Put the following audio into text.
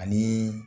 Ani